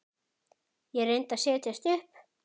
Ég reyndi að setjast upp.